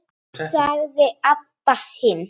sagði Abba hin.